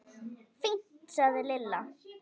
Fínt sagði Lilla.